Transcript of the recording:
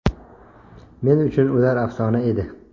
Men uchun ular afsona edi.